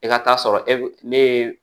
E ka taa sɔrɔ e ne ye